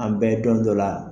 An bɛdo n dɔ la